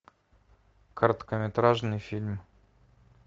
короткометражный фильм